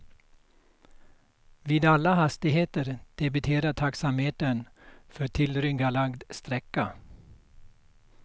Vid alla hastigheter debiterar taxametern för tillryggalagd sträcka.